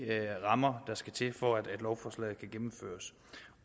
rammer der skal til for at lovforslaget kan gennemføres